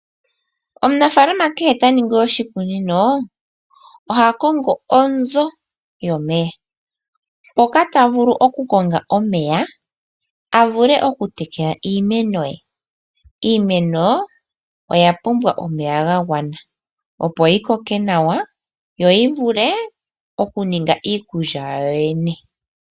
Omunafalama kehe taningi oshikunino .Oha kongo onzoo yomeya mpoka tafulu okukonga omeya avule okutekela iimeno yee. Iimeno oyapumbwa omeya gagwana opo yikoke nawa yo yivule okuninga iikulya yawo yoyene.